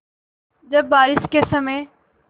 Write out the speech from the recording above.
जब बारिश के समय